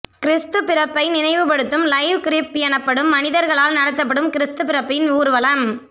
கிறிஸ்து பிறப்பை நினைவுபடுத்தும் live crib எனப்படும் மனிதர்களால் நடத்தப்படும் கிறிஸ்து பிறப்பின் ஊர்வலம்